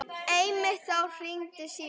Einmitt þá hringdi síminn.